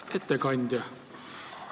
Hea ettekandja!